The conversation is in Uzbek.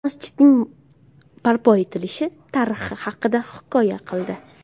Mazkur masjidning barpo etilishi tarixi haqida hikoya qildi.